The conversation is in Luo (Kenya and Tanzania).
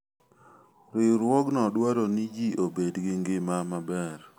Riwruogno dwaro ni ji obed gi ngima maber.